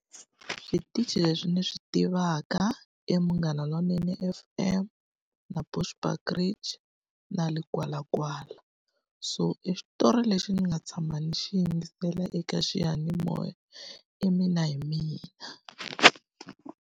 Switichi leswi ni swi tivaka i Munghana Lonene F_M, na Bushbuckbridge, na Legwalagwala. So e xitori lexi ni nga tshama ni xi yingisela eka xiyanimoya i Mina Hi Mina.